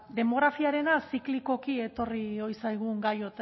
demografiarena ziklikoki etorri ohi zaigun gai